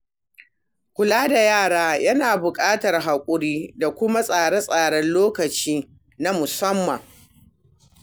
Kula da yara yana buƙatar hakuri da kuma tsare-tsaren lokaci na musamman.